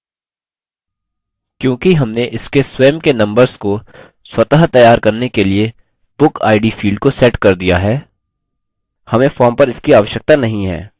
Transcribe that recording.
क्योंकि हमने इसके स्वयं के numbers को स्वततैयार करने के लिए bookid field को set कर दिया है हमें form पर इसकी आवश्यकता नहीं है